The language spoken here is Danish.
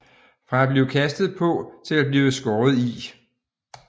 Fra at blive kastet på til at blive skåret i